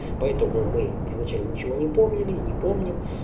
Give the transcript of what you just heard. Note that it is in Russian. поэтому мы изначально ничего не помнили не помним